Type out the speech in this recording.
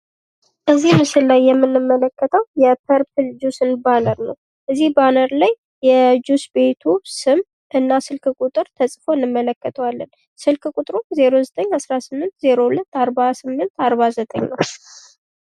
ከዚህ ምስል ላይ የምንመለከተው የፐርፕል ጁስ ባነር ነው። ከዚህ ባነር ላይ የጁስ ቤቱ ስም እና ስልክ ቁጥር ተጽፎ አንመለከተዋለን። ስልክ ቁጥርም 0918024849 ነው።